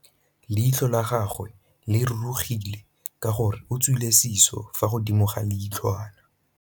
Leitlhô la gagwe le rurugile ka gore o tswile sisô fa godimo ga leitlhwana.